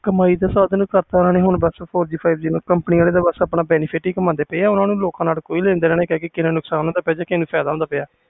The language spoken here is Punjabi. ਕਮਾਈ ਦਾ ਸਾਧਨ ਕਰਤਾ ਓਹਨੇ ਬਸ four G five G ਨੂੰ ਕੰਪਨੀਆਂ ਵਾਲੇ ਆਪਣਾ ਹੀ benefit ਕਾਮਦੇ ਪਏ ਨੇ ਓਹਨੂੰ ਲੋਕਾਂ ਨਾਲ ਕੋਈ ਲੈਣ ਦੇਣ ਨਹੀਂ ਆ ਕਿੰਨਾ ਨੁਕਸਾਨ ਜਾ ਕਿੰਨਾ ਫਾਇਦਾ ਹੁੰਦਾ ਪਿਆ ਆ